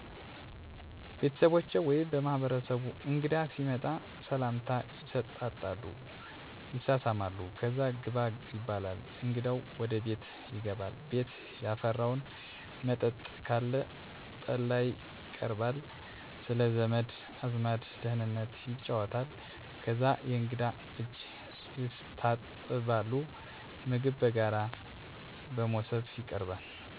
ቤተሠቦቸ ወይምበማህበረሰቡ እንግዳ ሲመጣ ሰላምታ ይሠጣጣሉ ይሳሳማሉ ከዛ ግባ ይባላል እንግዳው ወደ ቤት ይገባል ቤት ያፈራው መጠጥ ካለ ጠላይቀርባል ስለዘመድ አዝማድ ደህንነት ይጫወታል ከዛ የእንግዳ እጅ የስታጥባሉ ምግብ በጋራ በሞሰብ ይቀርባል ሁሉም ሠው ቀርቦ ይበላል በዛ ውስጥ ይብሉ እየተባለ ምግብ ሲጨረስ ምግብ የቀረበበት ሞሰብ (መስሪያ )ይነሳል።